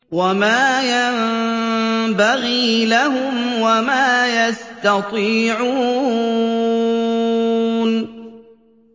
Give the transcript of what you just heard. وَمَا يَنبَغِي لَهُمْ وَمَا يَسْتَطِيعُونَ